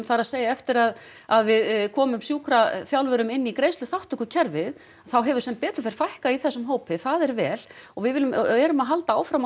það er að segja eftir að að við komum sjúkraþjálfurum inn í greiðsluþátttökukerfið þá hefur sem betur fer fækkað í þessum hópi það er vel og við viljum og erum að halda áfram